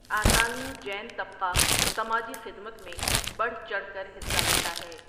آسامی جین طبقہ سماجی خدمت میں بڑھ چڑھ کر حصہ لیتا ہے۔